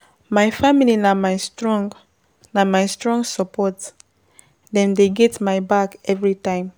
My family na my strong na my strong support, dem dey get my back everytime.